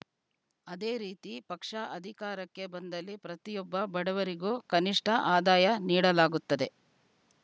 ಅದೇ ರೀತಿ ಪಕ್ಷ ಅಧಿಕಾರಕ್ಕೆ ಬಂದಲ್ಲಿ ಪ್ರತಿಯೊಬ್ಬ ಬಡವರಿಗೂ ಕನಿಷ್ಠ ಆದಾಯ ನೀಡಲಾಗುತ್ತದೆ